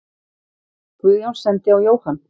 Guðjón sendi á Jóhann.